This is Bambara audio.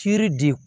Ciri de